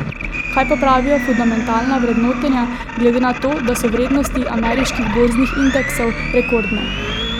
Kaj pa pravijo fundamentalna vrednotenja, glede na to, da so vrednosti ameriških borznih indeksov rekordne?